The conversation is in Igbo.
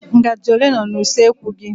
Ngaji ole nọ n'usekwu gị?